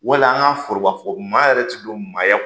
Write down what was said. Wali an ka foroba fɔ maa yɛrɛ ti don maaya kɔnɔ